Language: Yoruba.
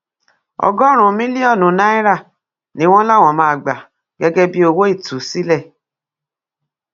ọgọrùnún mílíọnù náírà ni wọn láwọn máa gbà gẹgẹ bíi owó ìtúsílẹ